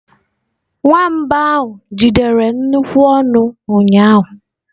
Nwamba ahụ jidere nnukwu ọnụ ụnyaahụ.